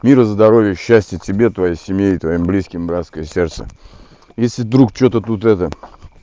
мира здоровья счастья тебе твоей семье и твоим близким братское сердце если вдруг что-то тут это